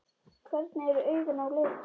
Hvernig eru augun á litinn?